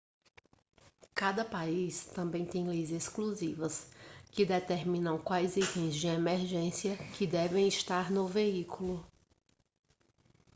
cada país também tem leis exclusivas que determinam quais itens de emergência que devem estar no veículo